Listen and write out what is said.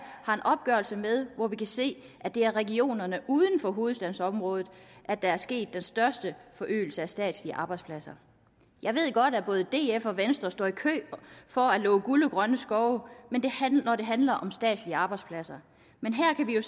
har en opgørelse med hvor vi kan se at det er i regionerne uden for hovedstadsområdet der er sket den største forøgelse af statslige arbejdspladser jeg ved godt at både df og venstre står i kø for at love guld og grønne skove når det handler om statslige arbejdspladser men her kan vi jo